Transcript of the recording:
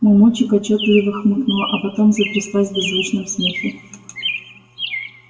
мамульчик отчётливо хмыкнула а потом затряслась в беззвучном смехе